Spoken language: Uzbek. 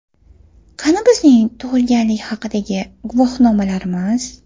Qani bizning tug‘ilganlik haqidagi guvohnomalarimiz?